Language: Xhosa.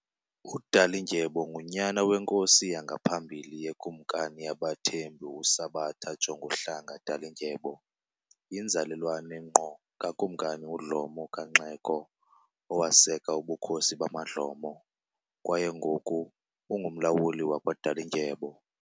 UDalindyebo ngunyana weNkosi yangaphambili yeKumkani yabaThembu uSabata Jonguhlanga Dalindyebo, yinzalelwane ngqo kaKumkani uDlomo KaNxeko owaseka ubukhosi bamaDlomo, kwaye ngoku ungumlawuli wakwaDalindyebo.